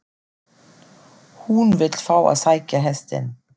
HÚN vill fá að sækja hestinn.